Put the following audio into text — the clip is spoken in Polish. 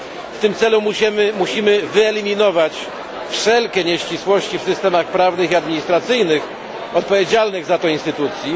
W tym celu musimy wyeliminować wszelkie nieścisłości w systemach prawnych i administracyjnych odpowiedzialnych za to instytucji.